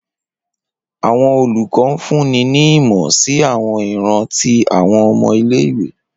Awọn olukọ funni ni imọ si awọn iran ti awọn ọmọ ile-iwe.